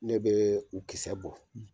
Ne bee u kisɛ bɔ